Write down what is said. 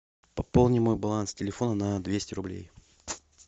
пополни мой баланс телефона на двести рублей